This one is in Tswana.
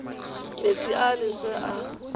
metsi a a leswe a